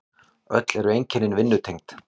Öll eru einkennin vinnutengd.